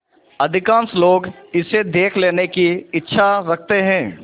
अधिकांश लोग इसे देख लेने की इच्छा रखते हैं